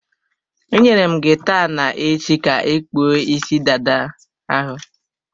Enyere m gị taa na-echi ka ị kpụọ isi dada ahụ.